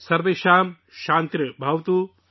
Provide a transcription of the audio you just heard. سرویشم شانتی بھواتو